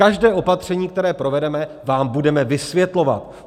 Každé opatření, které provedeme, vám budeme vysvětlovat.